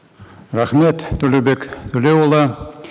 рахмет төлеубек төлеуұлы